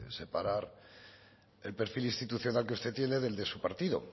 separar el perfil institucional que usted tiene y el de su partido